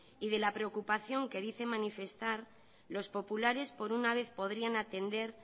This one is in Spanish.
y de la preocupación que dice manifestar los populares por una vez podrían atender